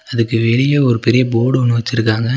அதுக்கு வெளிய ஒரு பெரிய போடொன்னு வெச்சிருக்காங்க.